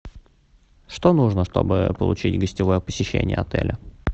что нужно чтобы получить гостевое посещение отеля